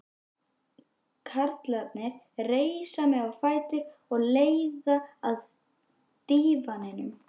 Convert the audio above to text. Karlarnir reisa mig á fætur og leiða að dívaninum.